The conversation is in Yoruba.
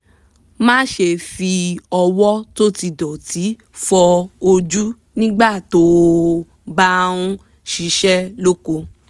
má ṣe fi ọwọ́ tó ti dọ̀tí fọ ojú nígbà tó o bá ń ṣiṣẹ́ lóko